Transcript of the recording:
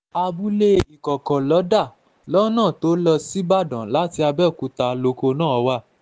abúlé ikọ̀kọ̀ lọ́dà lọ́nà tó lọ lọ síbàdàn láti abẹ́òkúta lóko náà wá